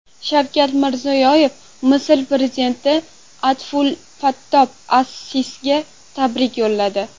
Shavkat Mirziyoyev Misr prezidenti Abdulfattoh as-Sisiga tabrik yo‘lladi.